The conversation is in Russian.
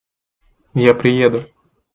я приеду